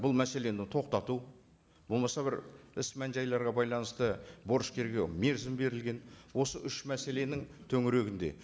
бұл мәселені тоқтату болмаса бір іс мән жайларға байланысты борышкерге мерзім берілген осы үш мәселенің төңірегінде